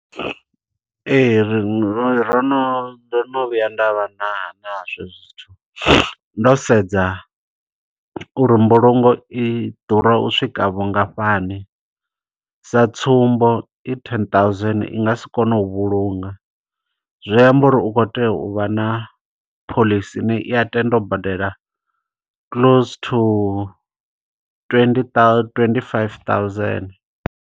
Ee, ri ro no, ndo no vhuya nda vha na nazwo hezwo zwithu. Ndo sedza uri mbulungo i ḓura u swika vhungafhani. Sa tsumbo i ten thousand i nga si kone u vhulunga. Zwi amba uri u khou tea u vha na phoḽisi ine i ya tenda u badela close to twenty thou, twenty-five-thousand.